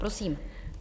Prosím.